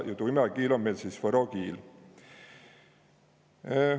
Ja tu imäkiil om meil sõs võro kiil.